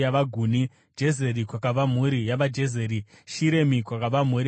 Jezeri, kwakabva mhuri yavaJezeri; Shiremi, kwakabva mhuri yavaShiremi.